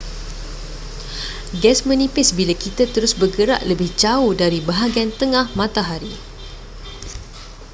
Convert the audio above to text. gas menipis bila kita terus bergerak lebih jauh dari bahagian tengah matahari